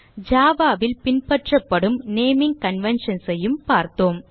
java ல் பின்பற்றபடும் naming conventions ஐயும் பார்த்தோம்